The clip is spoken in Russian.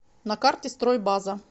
на карте стройбаза